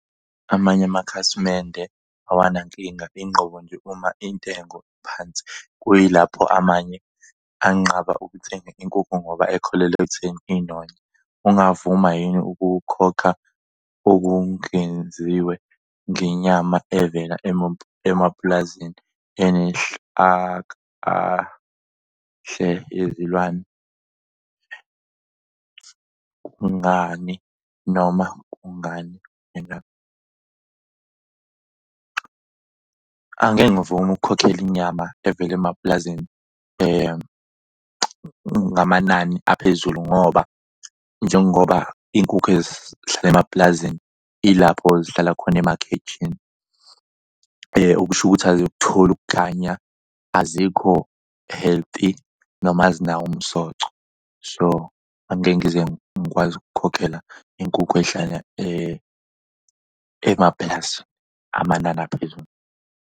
Amanye amakhasimende awanankinga inqobo nje uma intengo iphansi kuyilapho amanye anqaba ukuthenga inkukhu ngoba ekholelwa ekutheni inonywa. Ungavuma yini ukukhokha okungenziwe ngenyama evela emapulazini yezilwane. Kungani noma kungani? . Angeke ngivumi ukukhokhela inyama evela emapulazini ngamanani aphezulu ngoba njengoba iy'nkukhu ezihlala emapulazini ilapho zihlala khona emakhejini okusho ukuthi azikutholi ukukhanya, azikho healthy noma azinawo umsoco. So angeke ngize ngikwazi ukukhokhela inkukhu ehlala emaplazi amanani aphezulu.